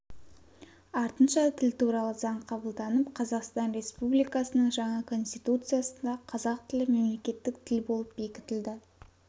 артынша тіл туралы заң қабылданып қазақстан республикасының жаңа конституциясында қазақ тілі мемлекеттік тіл болып бекітілді